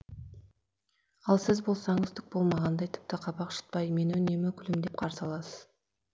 ал сіз болсаңыз түк болмағандай тіпті қабақ шытпай мені үнемі күлімдеп қарсы аласыз